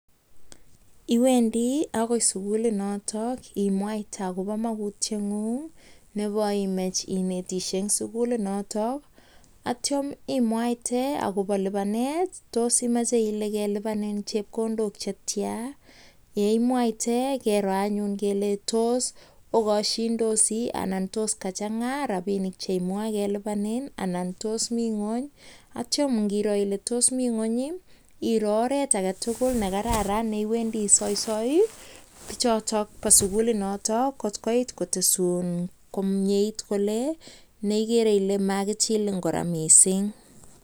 Iwendii akoi sigulii notok nikoimech inetoshee Eng sigulii notok akitepee kotkoo Chang rapisheerk chekelipanii Eng sigulii notok akoimuch itepseeee kolee tos uneeee rapisheek chekilipani piik Eng yotok